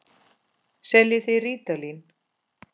Seljið þið rítalín?